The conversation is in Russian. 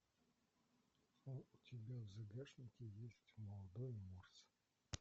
у тебя в загашнике есть молодой морс